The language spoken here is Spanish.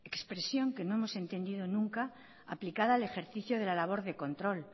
expresión que no hemos entendido nunca aplicada al ejercicio de la labor del control